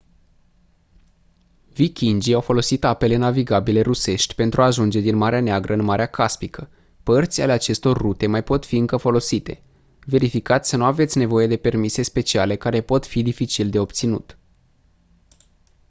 vikingii au folosit apele navigabile rusești pentru a ajunge din marea neagră în marea caspică părți ale acestor rute mai pot fi încă folosite verificați să nu aveți nevoie de permise speciale care pot fi dificil de obținut